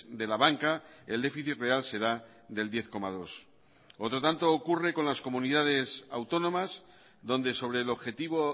de la banca el déficit real será del diez coma dos otro tanto ocurre con las comunidades autónomas donde sobre el objetivo